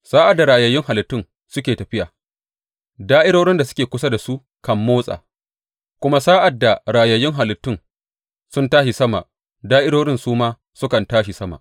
Sa’ad da rayayyun halittun suke tafiya, da’irorin da suke kusa da su kan motsa; kuma sa’ad da rayayyun halittun sun tashi sama, da’irorin su ma sukan tashi sama.